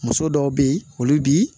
Muso dɔw be yen olu bi